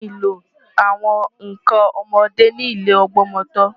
Wọ́n nílò àwọn nǹkan ọmọdé ní ilé ìgbọmọtọ́.